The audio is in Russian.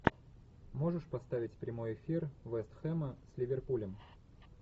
можешь поставить прямой эфир вест хэма с ливерпулем